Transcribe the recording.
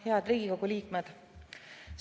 Head Riigikogu liikmed!